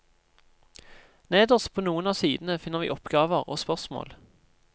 Nederst på noen av sidene finner vi oppgaver og spørsmål.